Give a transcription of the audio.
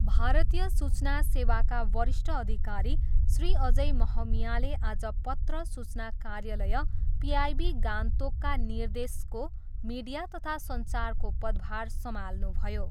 भारतीय सूचना सेवाका वरिष्ठ अधिकारी श्री अजय महमियाले आज पत्र सूचना कार्यालय पिआइबी गान्तोकका निर्देशको मीडिया तथा सञ्चारको पदभार सम्हाल्नुभयो।